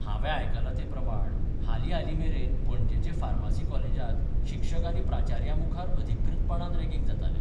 हावें आयकलां ते प्रमाण हालीं हालीं मेरेन पणजेचे फार्मासी कॉलेजत शिक्षक आनी प्राचार्यां मुखार अधिकृतपणान रॅगिंग जातालें.